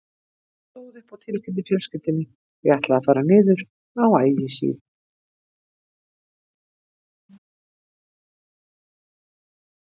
Ég stóð upp og tilkynnti fjölskyldunni að ég ætlaði að fara niður á Ægisíðu.